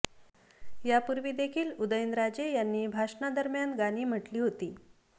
यापूर्वी देखील उदयनराजे यांनी भाषणा दरम्यान गाणी म्हटली होती